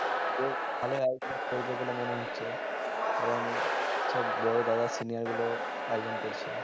বেশ ভালোই আয়োজন করবে বলে মনে হয়েছে কারণ সব বড়ো দাদা senior গুলো আয়োজন করছে